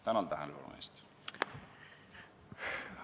Tänan tähelepanu eest!